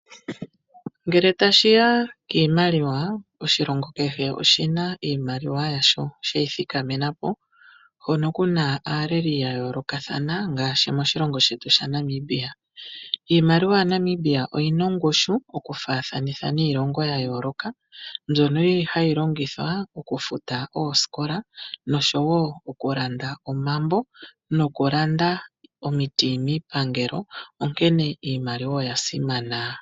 Ngele tashi ya kiimaliwa, oshilongo kehe oshi na iimaliwa yasho shi ithikamena po, hono ku na aaleli ya yoolokathana, ngaashi moshilongo shetu shaNamibia. Iimaliwa yaNamibia oyi na ongushu okufaathanitha niilongo ya yooloka, mbyono hayi longithwa okufuta oosikola, okulanda omambo nokulanda omiti miipangelo, onkene iimaliwa oya simana.